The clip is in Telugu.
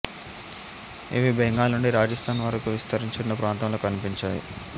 ఇవి బెంగాల్ నుండి రాజస్థాన్ వరకు విస్తరించి ఉన్న ప్రాంతంలో కనిపించాయి